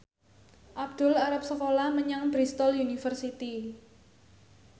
Abdul arep sekolah menyang Bristol university